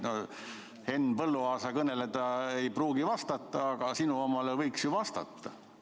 Henn Põlluaasa kõnele ta ei pruugi vastata, aga sinu omale võiks ju vastata.